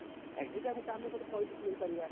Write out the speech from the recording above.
ଏଇଟା କୁ ତ ଆମେ ଗୋଟେ point କୁ ନେଇ ପାରିବା